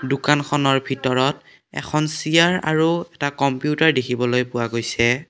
দোকানখনৰ ভিতৰত এখন চিয়াৰ আৰু এটা কম্পিউটাৰ দেখিবলৈ পোৱা গৈছে।